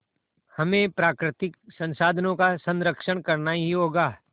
हमें प्राकृतिक संसाधनों का संरक्षण करना ही होगा